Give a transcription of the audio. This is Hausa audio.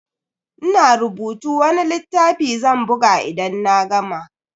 Ina rubuta wani littafi zan buga idan na gama.